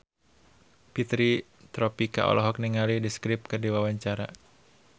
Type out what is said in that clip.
Fitri Tropika olohok ningali The Script keur diwawancara